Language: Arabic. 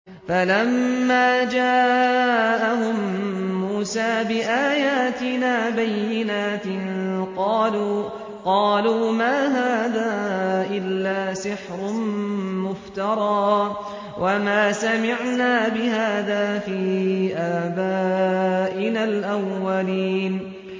فَلَمَّا جَاءَهُم مُّوسَىٰ بِآيَاتِنَا بَيِّنَاتٍ قَالُوا مَا هَٰذَا إِلَّا سِحْرٌ مُّفْتَرًى وَمَا سَمِعْنَا بِهَٰذَا فِي آبَائِنَا الْأَوَّلِينَ